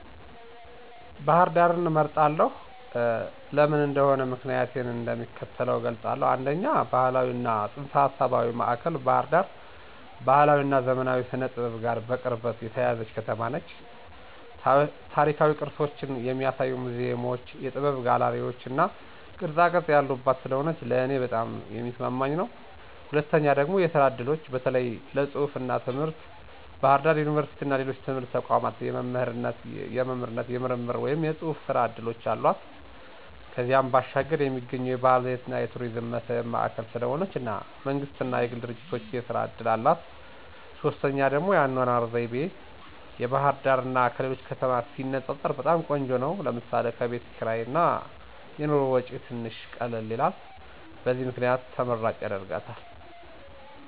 ባህር ዳርን እመርጣለሁ። ለምን እንደሆነ ምክንያቲን እንደሚከተለው እገልፃለሁ፦ 1, ባህላዊ እና ፅንሰ-ሀሳባዊ ማእከል ባህር ዳር ባህላዊ እና ዘመናዊ ስነ-ጥበብ ጋር በቅርበት የተያያዘች ከተማ ነች። ታሪካዊ ቅርሶችን የሚያሳዩ ሙዚየሞች፣ የጥበብ ጋለሪዎች እና ቅርፃቅረፅ ያሉባት ስለሆነ ለእኔ በጣም የሚስማማኝ ነው። 2, የስራ እድሎች (በተለይ ለፅሁፍ እና ትምህርት) ፦ በባህር ዳር ዩኒቨርሲቲ እና ሌሎች ትምህርታዊ ተቋማት የመምህርነት፣ የምርምር ወይም የጽሑፍ ሥራ ዕድሎች አሏት። ከዚያም ባሻገር የሚገኙ የባህል የቱሪዝም መስህብ ማእከል ስለሆነች እና መንግስት እና የግል ድርጂቶች የስራ እድል አላት። 3, የአኗኗር ዘይቤ፦ ባህርዳር ከሌሎች ከተማ ሲነፃፀር በጣም ቆንጆ ነው ለምሳሌ፦ ከቤት ክርይ እና የኑሮ ወጪ ትንሽ ቀላል ነው። በዚህ ምክንያት ተመራጭ ያደርጋታል።